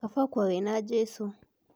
Kaba ũkue wĩ na Jesu.